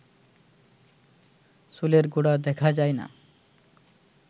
চুলের গোড়া দেখা যায় না